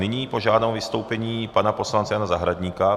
Nyní požádám o vystoupení pana poslance Jana Zahradníka.